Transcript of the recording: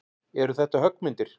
Eru þetta höggmyndir?